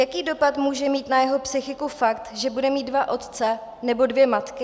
Jaký dopad může mít na jeho psychiku fakt, že bude mít dva otce nebo dvě matky?